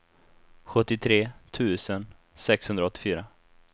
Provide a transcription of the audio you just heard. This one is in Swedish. sjuttiotre tusen sexhundraåttiofyra